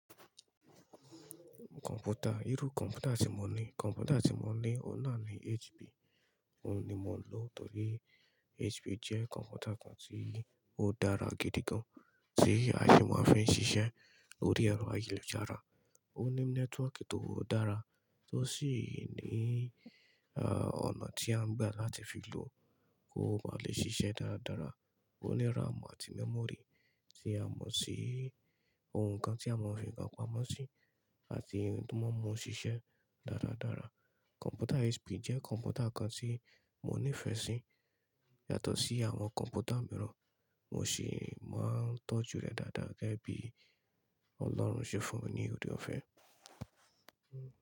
Kọ̀mpútà, irú kọ̀mpútà tí mo ní, kọ̀mpútà tí mo ní ọ̀hun nà ní HP. Òun ni mo ń lò torí HP jẹ́ kọ̀mpútà kan tí ó dára gidi gan. Tí a sì máa ń fi ń ṣiṣẹ́ lórí ẹ̀rọ ayélujára. Óní network tó dára osí nì ọ̀nà tí a ń gbà láti fi lò kó bá lè shishe dára dára. Ó ní RAM àti mémòrì tí a mọ̀ sí ohun kan tí a mọ̀ ọ́n pé ìkànpámọ́ sí, àti ohun tí wọ́n mọ̀ sí iṣẹ́ dáradára. Kọ̀mpútà HP jẹ́ kọ̀mpútà kan tí mo nífẹ̀ẹ́ sí yàtọ̀ sí àwọn kọ̀mpútà mìíràn. Mo sì máa ń tọ́jú rẹ̀ dáadáa gẹ́gẹ́ bí Ọlọ́run ṣe fún mi ní òde ọ̀fẹ́.